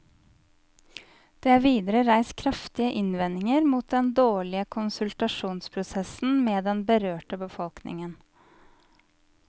Det er videre reist kraftige innvendinger mot den dårlige konsultasjonsprosessen med den berørte befolkningen.